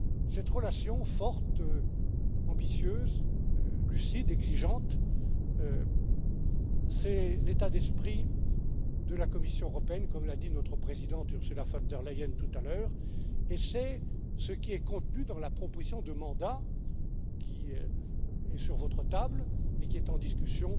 Cette relation forte, ambitieuse, lucide, exigeante, c'est l'état d'esprit de la Commission européenne, comme l'a dit notre présidente Ursula von der Leyen tout à l'heure, et c'est ce qui est contenu dans la proposition de mandat qui est sur votre table et qui est en discussion